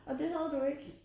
Og det havde du ikke